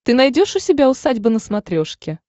ты найдешь у себя усадьба на смотрешке